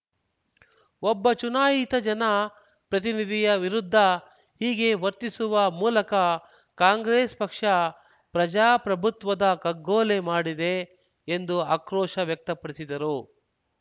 ಒಬ್ಬ ಚುನಾಯಿತ ಜನ ಪ್ರತಿನಿಧಿಯ ವಿರುದ್ಧ ಹೀಗೆ ವರ್ತಿಸುವ ಮೂಲಕ ಕಾಂಗ್ರೆಸ್‌ ಪಕ್ಷ ಪ್ರಜಾಪ್ರಭುತ್ವದ ಕಗ್ಗೊಲೆ ಮಾಡಿದೆ ಎಂದು ಆಕ್ರೋಶ ವ್ಯಕ್ತಪಡಿಸಿದರು